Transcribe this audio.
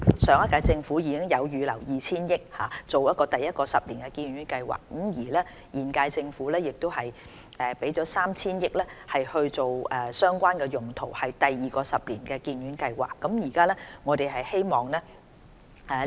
上屆政府已預留 2,000 億元推行第一個十年醫院發展計劃，而現屆政府亦預留 3,000 億元作相關用途，用以推行第二個十年醫院發展計劃。